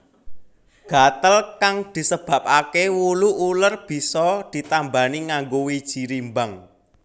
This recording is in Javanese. Gatel kang disebabaké wulu uler bisa ditambani nganggo wiji rimbang